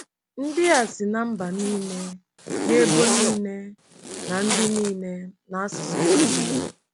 Ndị a “si ná mba niile na ebo niile na ndị niile na asụsụ niile.